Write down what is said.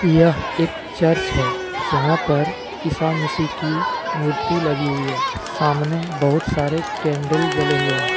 यह एक चर्च हैजहां पर ईसा मसीह की मूर्ति लगी हुई हैसामने बहुत सारे कैंडल जले हुए हैं।